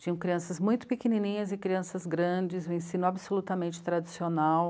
Tinham crianças muito pequenininhas e crianças grandes, um ensino absolutamente tradicional.